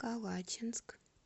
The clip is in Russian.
калачинск